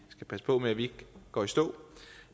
skal passe på med at vi ikke går i stå